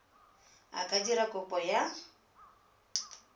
a ka dira kopo ya